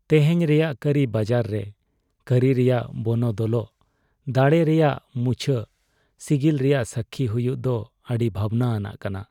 ᱛᱮᱦᱮᱧ ᱨᱮᱭᱟᱜ ᱠᱟᱹᱨᱤ ᱵᱟᱡᱟᱨ ᱨᱮ ᱠᱟᱹᱨᱤ ᱨᱮᱭᱟᱜ ᱵᱚᱱᱚᱫᱚᱞᱚᱜ ᱫᱟᱲᱮ ᱨᱮᱭᱟᱜ ᱢᱩᱪᱷᱟᱹᱜ ᱥᱤᱜᱤᱞ ᱨᱮᱭᱟᱜ ᱥᱟᱹᱠᱠᱷᱤ ᱦᱩᱭᱩᱜ ᱫᱚ ᱟᱹᱰᱤ ᱵᱷᱟᱵᱱᱟ ᱟᱱᱟᱜ ᱠᱟᱱᱟ ᱾